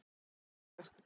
Löng saga